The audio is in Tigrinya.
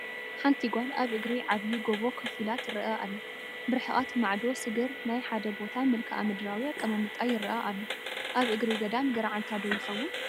ሓንቲ ጓል ኣብ እግሪ ዓብይ ጎቦ ከፍ ኢላ ትረአ ኣላ፡፡ ብርሕቐት ማዕዶ ስግር ናይ ሓደ ቦታ መልክኣ ምድራዊ ኣቐማምጣ ይረአ ኣሎ፡፡ ኣብ እግሪ ገዳም ገርዓልታ ዶ ይኸውን?